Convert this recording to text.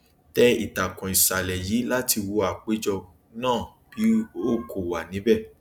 tẹ ìtàkùn ìṣàlẹ yìí láti wo apèjọ náà bí o kò wà níbẹ